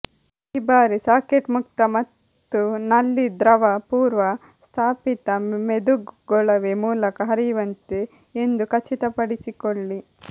ಈ ಬಾರಿ ಸಾಕೆಟ್ ಮುಕ್ತ ಮತ್ತು ನಲ್ಲಿ ದ್ರವ ಪೂರ್ವ ಸ್ಥಾಪಿತ ಮೆದುಗೊಳವೆ ಮೂಲಕ ಹರಿಯುವಂತೆ ಎಂದು ಖಚಿತಪಡಿಸಿಕೊಳ್ಳಿ